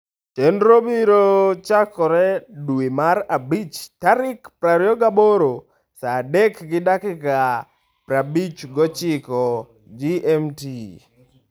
Chenrono biro chakore dwe mar abich tarik 28 (sa 3 gi dakika 59 GMT).